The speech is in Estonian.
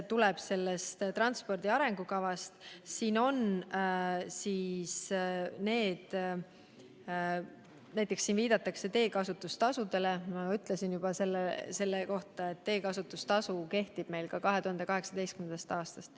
Transpordi arengukavas viidatakse näiteks teekasutustasule, aga nagu ma selle kohta juba ütlesin, kehtib teekasutustasu meil 2018. aastast.